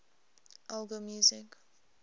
elgar music